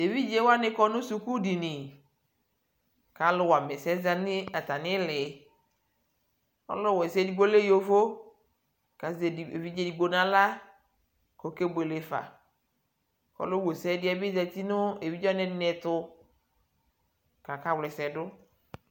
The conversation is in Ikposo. tɛ ɛvidzɛ wani kɔnʋ skʋl dini kʋ alʋ wama ɛsɛzanʋ atami ili ,ɔlʋ wɛsɛ ɛdigbɔ lɛ yɔvɔ kʋ azɛ ɛvidzɛ ɛdigbɔ nʋ ala kʋ ɔkɛ bʋɛlɛ ƒa, ɔlʋ wɛsɛ bi zanʋ ɛvidzɛ wani ɛtʋ kʋakawlɛsɛ dʋ